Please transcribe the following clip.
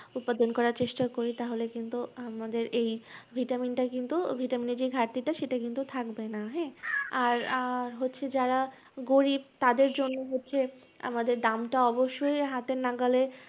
উৎপাদন করার চেষ্টা করি তাহলে কিন্তু আমাদের এই vitamin টা কিন্তু vitamin এর যে ঘাটতিটা সেটা কিন্তু থাকবে না হ্যাঁ! আহ আর হচ্ছে যারা গরিব তাদের জন্য হচ্ছে আমাদের দামটা অবশ্যই হাতের নাগালে